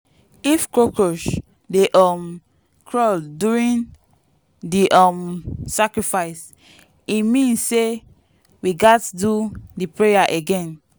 if cockroach dey um crawl during the um sacrifice e mean say we gats do the prayer again.